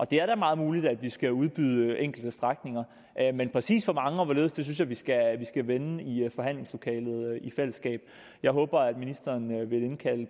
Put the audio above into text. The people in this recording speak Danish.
det er da meget muligt at vi skal udbyde enkelte strækninger men præcis hvor mange og hvorledes synes jeg vi skal vende i forhandlingslokalet i fællesskab jeg håber at ministeren vil indkalde